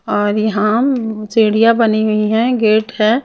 और यहां मम सीढ़ियां बनी हुई हैं गेट है।